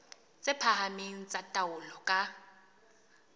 tse phahameng tsa taolo ka